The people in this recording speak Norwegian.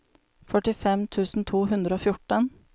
førtifem tusen to hundre og fjorten